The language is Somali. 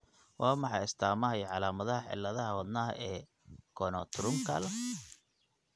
Waa maxay astamaha iyo calaamadaha cilladaha wadnaha ee Conotruncal?